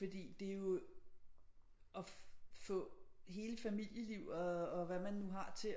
Fordi det er jo at få hele familieliv og hvad man nu har til